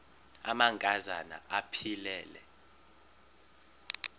amanka zana aphilele